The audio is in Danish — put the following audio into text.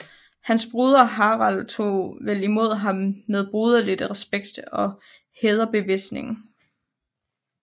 Hans broder Harald tog vel imod ham med broderlig respekt og hædersbevisninger